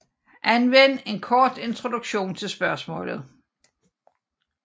Anvend en kort introduktion til spørgsmålet